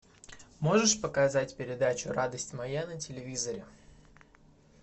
можешь показать передачу радость моя на телевизоре